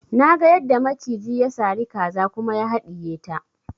Naga yadda maciji ya sari kaza kuma ya haɗiye ta